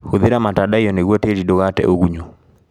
Hũthĩra matandaiyo nĩguo tĩri ndũgate ũgunyu.